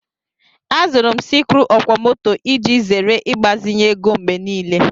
Azụrụ m sikruuokwomoto iji zere ịgbazinye ego mgbe niile